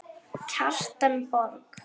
Kjartan Borg.